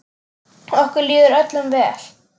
Okkur líður öllum vel.